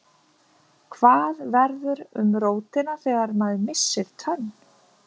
Hvað verður um rótina þegar maður missir tönn?